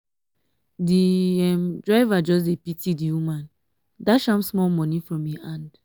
di um driver just pity di um woman dash am small moni from im hand.